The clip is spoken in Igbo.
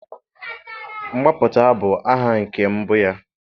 mgbapụta bụ aha nke mbụ ya